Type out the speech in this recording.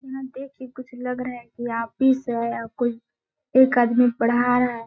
देख के कुछ लग रहा है कि ऑफिस है या कोई एक आदमी पढ़ा रहा है।